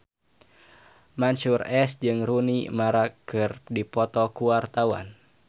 Mansyur S jeung Rooney Mara keur dipoto ku wartawan